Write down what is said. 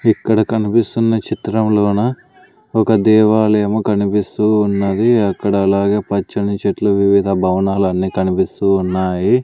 ఇక్కడ కనిపిస్తున్న చిత్రంలోన ఒక దేవాలయము కనిపిస్తూ ఉన్నది అక్కడ అలాగే పచ్చని చెట్లు వివిధ భవనాలన్నీ కనిపిస్తూ ఉన్నాయి.